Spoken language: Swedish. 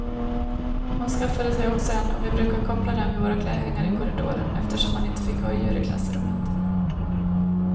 Hon skaffade sig också en och vi brukade koppla dem vid våra klädhängare i korridoren, eftersom man inte fick ha djur i klassrummet.